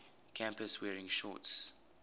campus wearing shorts